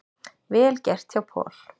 Vel gert hjá Paul.